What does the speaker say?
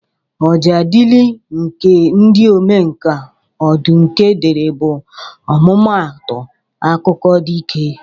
Ọjaadịlị nke ndị omenka Ọdụnke dere bụ ọmụmaatụ akụkọ dike